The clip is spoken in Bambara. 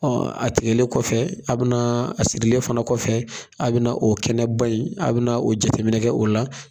Ɔ a tigɛlen kɔfɛ a bɛna a sirilen fana kɔfɛ a bɛna o kɛnɛba in a bɛ o jateminɛ kɛ o la